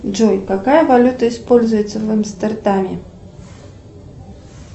джой какая валюта используется в амстердаме